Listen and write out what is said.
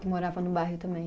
que morava no bairro também.